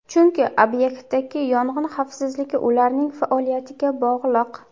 Chunki obyektdagi yong‘in xavfsizligi ularning faoliyatiga bog‘liq.